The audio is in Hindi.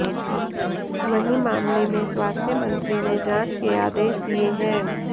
वहीं मामले में स्वास्थ्य मंत्री ने जांच के आदेश दिए हैं